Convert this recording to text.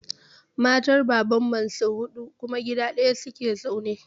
Matan Baban Mansir huɗu kuma gida ɗaya su ke zaune.